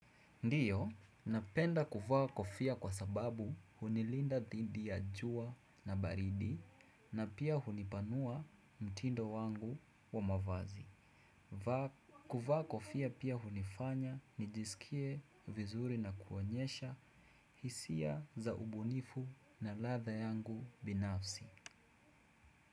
Ndiyo, napenda kuvaa kofia kwa sababu hunilinda dhidi ya jua na baridi na pia hunipanua mtindo wangu wa mavazi. Kuvaa kofia pia hunifanya nijisikie vizuri na kuonyesha hisia za ubunifu na ladha yangu binafsi.